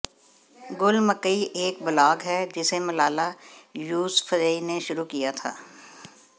गुल मकई एक ब्लॉग है जिसे मलाला यूसफ़ज़ई ने शुरू किया था